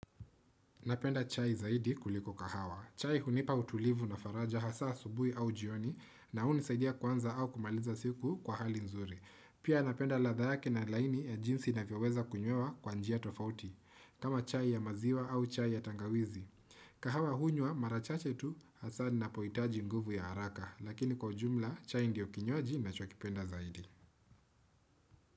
Napenda chai zaidi kuliko kahawa. Chai hunipa utulivu na faraja hasa asubuhi au jioni na hunisaidia kuanza au kumaliza siku kwa hali nzuri. Pia napenda ladha yake na laini ya jinsi navyo weza kunywea kwa njia tofauti. Kama chai ya maziwa au chai ya tangawizi. Kahawa hunywa mara chache tu, hasa ninapohitaji nguvu ya haraka. Lakini kwa ujumla chai ndio kinywaji ninacho kipenda zaidi.